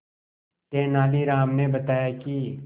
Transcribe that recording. तेनालीराम ने बताया कि